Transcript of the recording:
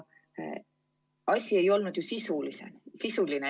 Asi ei olnud sisuline.